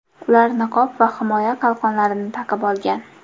Ular niqob va himoya qalqonlarini taqib olgan.